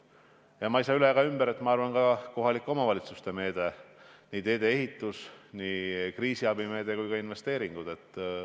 Ja ma ei saa üle ega ümber ka kohalike omavalitsuste meetmest: nii teede ehitus, kriisiabi kui ka investeeringud.